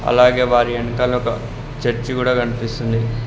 అలాగే వారి ఎనకాల ఒక చర్చ్ గుడా కనిపిస్తుంది.